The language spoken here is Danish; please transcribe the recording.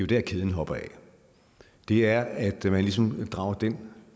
der kæden hopper af det er at man ligesom drager den